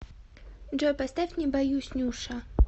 джой поставь не боюсь нюша